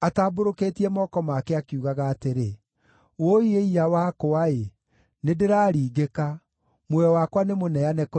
atambũrũkĩtie moko make, akiugaga atĩrĩ, “Wũi-ĩ-iya-wakwa-ĩ! Nĩndĩraringĩka; muoyo wakwa nĩmũneane kũrĩ oragani.”